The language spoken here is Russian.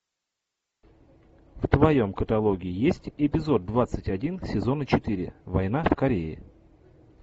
в твоем каталоге есть эпизод двадцать один сезона четыре война в корее